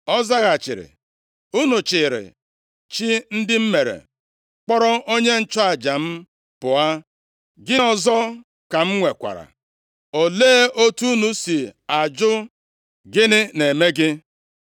Ọ zaghachiri, “Unu chịịrị chi ndị m mere, kpọrọ onye nchụaja m pụọ. Gịnị ọzọ ka m nwekwara? Olee otu unu si ajụ, ‘Gịnị na-eme gị?’ ”